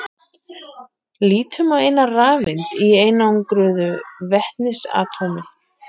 Lítum á eina rafeind í einangruðu vetnisatómi.